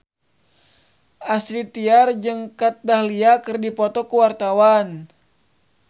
Astrid Tiar jeung Kat Dahlia keur dipoto ku wartawan